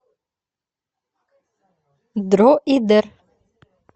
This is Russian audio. дроидер